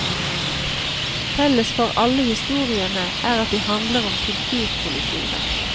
Felles for alle historiene er at de handler om kulturkollisjoner.